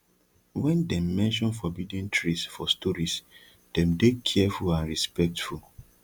when dem mention forbidden trees for stories dem dey careful and respectful